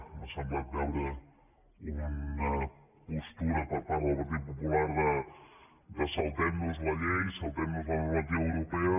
m’ha semblat veure una postura per part del partit popular de saltem nos la llei saltem nos la normativa europea